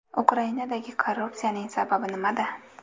Ukrainadagi korrupsiyaning sababi nimada?